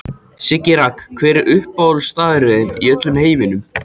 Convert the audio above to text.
Siggi Raggi Hver er uppáhaldsstaðurinn þinn í öllum heiminum?